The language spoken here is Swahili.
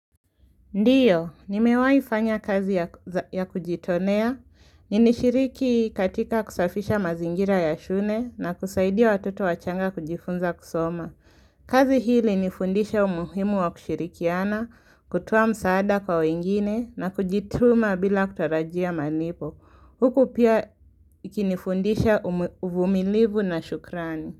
Ndiyo, ni mewai fanya kazi ya za kujitonea. Ni nishiriki katika kusafisha mazingira ya shune na kusaidia watoto wachanga kujifunza kusoma. Kazi hii ilini fundisha umuhimu wa kushirikiana, kutoa msaada kwa wengine na kujituma bila kutarajia manipo. Huku pia ikinifundisha umu umumilivu na shukrani.